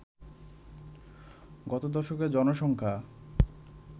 গত দশকে জনসংখ্যা